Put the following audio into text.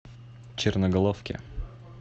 черноголовке